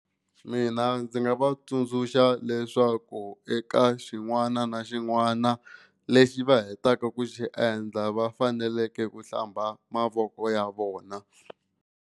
Mina ndzi nga va tsundzuxa leswaku eka xin'wana na xin'wana lexi va hetaka ku xi endla va faneleke ku hlamba mavoko ya vona.